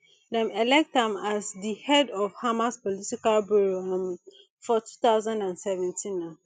dem elect am as di head of hamas political bureau um for two thousand and seventeen um